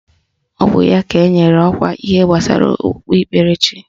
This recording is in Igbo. Ọ bụ ya ka enyere ọkwa ihe gbasara okpukperechi